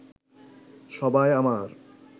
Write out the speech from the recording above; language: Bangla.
সবাই আমার